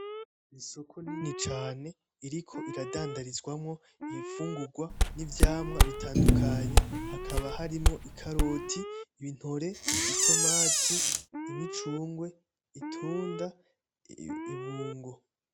Isoko rinini cane ririko riradandarizwamwo imfungurw n’ivyamwa bitandukanye hakaba harimwo ikaroti, intore , itomati ,imicungwe ,itunda ,ibungo .